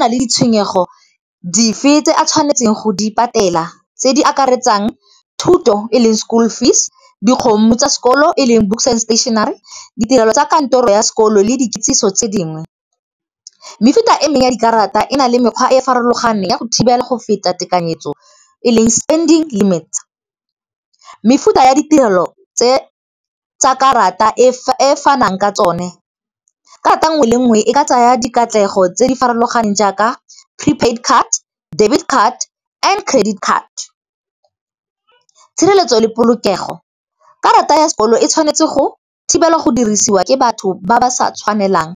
nale ditshwenyego dife tse a tshwanetseng go di patela tse di akaretsang thuto e leng school fees, dikgomo tsa sekolo e leng books and stationery. Ditirelo tsa kantoro ya sekolo le dikitsiso tse dingwe, mefuta e mengwe ya dikarata e na le mekgwa e e farologaneng ya go thibela go feta tekanyetso eleng spending limits. Mefuta ya ditirelo tsa karata e fanang ka tsone, karata nngwe le nngwe e ka tsaya dikatlego tse di farologaneng jaaka prepaid card, debit card and credit card. Tshireletso le polokego, karata ya sekoloto e tshwanetse go thibelwa go dirisiwa ke batho ba ba sa tshwanelang.